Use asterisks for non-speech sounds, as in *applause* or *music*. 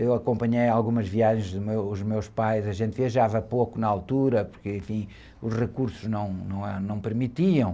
Eu acompanhei algumas viagens dos meus, os pais, a gente viajava pouco na altura, porque, enfim, os recursos não, não, *unintelligible* não permitiam.